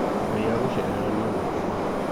Ngai agũcerera nĩ ũgũkena.